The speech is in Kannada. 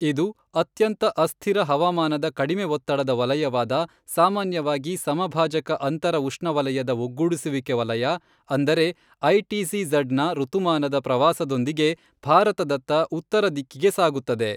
ಇದು ಅತ್ಯಂತ ಅಸ್ಥಿರ ಹವಾಮಾನದ ಕಡಿಮೆ ಒತ್ತಡದ ವಲಯವಾದ ಸಾಮಾನ್ಯವಾಗಿ ಸಮಭಾಜಕ ಅಂತರ ಉಷ್ಣವಲಯದ ಒಗ್ಗೂಡಿಸುವಿಕೆ ವಲಯ, ಅಂದರೆ ಐಟಿಸಿಝಡ್ದ ಋತುಮಾನದ ಪ್ರವಾಸದೊಂದಿಗೆ ಭಾರತದತ್ತ ಉತ್ತರ ದಿಕ್ಕಿಗೆ ಸಾಗುತ್ತದೆ.